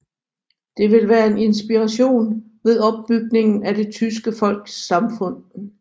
Det ville være en inspiration ved opbygningen af det tyske folks samfund